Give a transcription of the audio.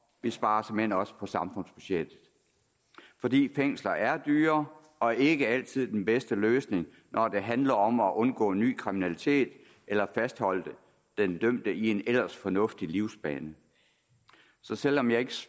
vi sparer såmænd også på samfundsbudgettet fordi fængsler er dyre og ikke altid den bedste løsning når det handler om at undgå ny kriminalitet eller fastholde den dømte i en ellers fornuftig livsbane så selv om jeg